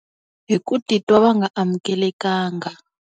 Hi ku titwa va nga amukelekanga.